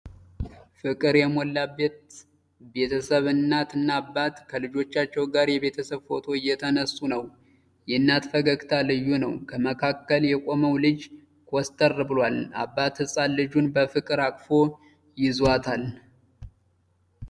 ፍቅር የሞላበት ቤተሰብ እናት እና አባት ከልጆቻቸዉ ጋር የቤተሰብ ፎቶ እየተነሱ ነዉ። የእናት ፈገግታ ልዩ ነዉ። ከመካከል የቆመዉ ልጅ ኮስተር ብሏል። አባት ህፃን ልጁን በፍቅር አቅፎ ይዟታል።